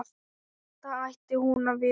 Þetta ætti hún að vita.